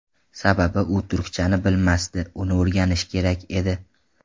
Sababi u turkchani bilmasdi, uni o‘rganishi kerak edi.